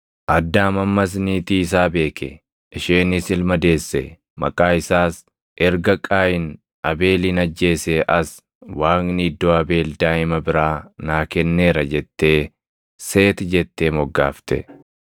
Addaam ammas niitii isaa beeke; isheenis ilma deesse; maqaa isaas, “Erga Qaayin Abeelin ajjeesee as Waaqni iddoo Abeel daaʼima biraa naa kenneera” jettee “Seeti” jettee moggaafte.